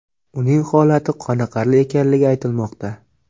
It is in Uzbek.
Uning holati qoniqarli ekanligi aytilmoqda.